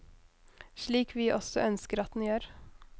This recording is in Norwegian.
Slik vi også ønsker at den gjør.